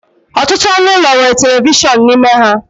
Ọtụtụ ọnụ ụlọ nwere telivishọn n'ime ha